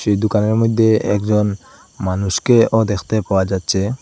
এই দোকানের মইধ্যে একজন মানুষকেও দেখতে পাওয়া যাচ্ছে।